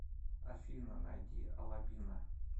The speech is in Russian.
афина найди алабина